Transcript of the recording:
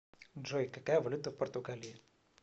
джой какая валюта в португалии